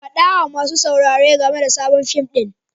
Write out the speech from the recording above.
Faɗa wa masu sauraro game da sabon fim ɗin.